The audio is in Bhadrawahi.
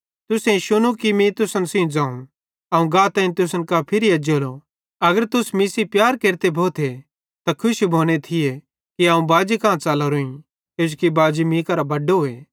तुसेईं शुनू मीं तुसन सेइं ज़ोवं अवं गाताईं तुसन कां फिरी एज्जेलो अगर तुस मीं सेइं प्यार केरते भोते त खुशी भोने थिये कि अवं बाजी कां च़लोरोईं किजोकि बाजी मीं करां बड्डोए